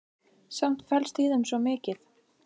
Samt felst í þeim svo mikið.